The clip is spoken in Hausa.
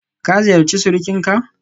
Ka ziyarci surukinka?